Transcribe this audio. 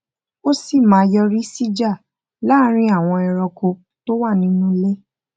ó sì máa yọrí sí ìjà láàárín àwọn ẹranko tó wà nínú ilé